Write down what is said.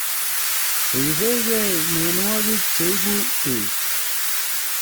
Ribekei mienwokik cheibu beek